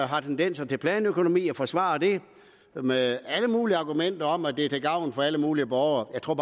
har tendenser til planøkonomi og forsvarer det med alle mulige argumenter om at det er til gavn for alle mulige borgere jeg tror